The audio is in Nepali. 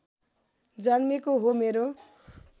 जन्मेको हो मेरो